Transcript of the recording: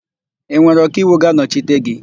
Ị nwere ọkaiwu ga-anọchite gị?